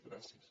gràcies